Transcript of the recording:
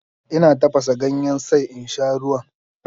Ina tafasa ganyen sai in sha ruwan.